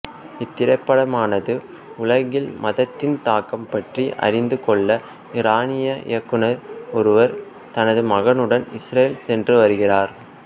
இத்திரைப்படமானது உலகில் மதத்தின் தாக்கம் பற்றி அறிந்து கொள்ள ஈரானிய இயக்குனர் ஒருவர் தனது மகனுடன் இஸ்ரேல் சென்று வருகிறார்